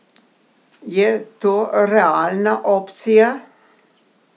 Je to realna opcija?